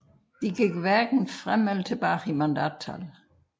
De gik hverken frem eller tilbage i mandattal